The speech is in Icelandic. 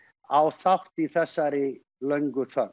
á þátt í þessari löngu þögn